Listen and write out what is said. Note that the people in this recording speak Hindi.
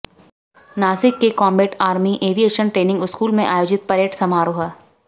नासिक के combat army aviation training school में आयोजित परेड समारोह